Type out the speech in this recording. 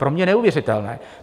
Pro mě neuvěřitelné!